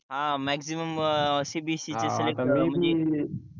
अं maximum CBSE selection होतात